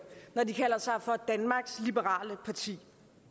når de kalder sig for danmarks liberale parti